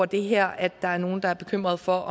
det her at der er nogle der er bekymrede for